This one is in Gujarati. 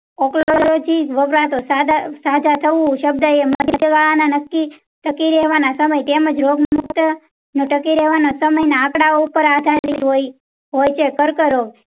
વાગતો સજા સજા થાઉં સંબંધ એ નક્કી ટકી રહેવાના સમય તેમજ રોગ મુખ્ત ન ટકી રહેવાના સમય ઉપર આધારિત હોય છે કર કરો